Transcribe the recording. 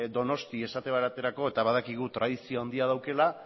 donosti esate baterako eta badakigu tradizio handia daukala